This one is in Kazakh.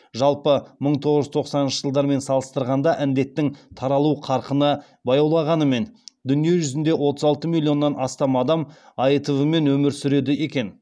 жалпы мың тоғыз жүз тоқсаныншы жылдармен салыстырғанда індеттің таралу қарқыны баяулағанымен дүниежүзінде отыз алты миллионнан астам адам аитв мен өмір сүреді екен